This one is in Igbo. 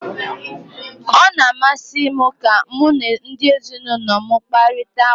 Ọ na-amasị m ka mụ na ndị ezinụlọ m ị kparita ụka.